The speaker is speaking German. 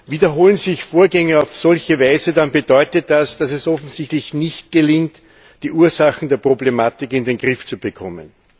Wiederholen sich Vorgänge auf solche Weise, dann bedeutet das, dass es offensichtlich nicht gelingt, die Ursachen der Problematik in den Griff zu bekommen.